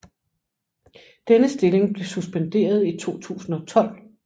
Denne stilling blev suspenderet i 2012